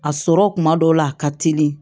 A sɔrɔ kuma dɔw la a ka teli